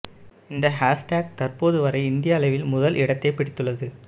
இந்த ஹேஷ்டேக் தற்போது வரை இந்திய அளவில் முதல் இடத்தை பிடித்துள்ளது